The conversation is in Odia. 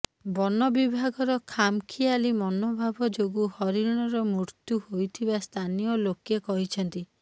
ବନ ବିଭାଗର ଖାମ ଖିଆଲି ମନୋଭାବ ଯୋଗୁଁ ହରିଣର ମୃତ୍ୟୁ ହୋଇଥିବା ସ୍ଥାନୀୟ ଲୋକେ କହିଛନ୍ତି